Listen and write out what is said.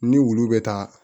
Ni wulu bɛ taa